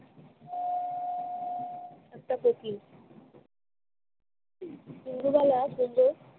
তারপর কি? ইন্দুবালা শুধু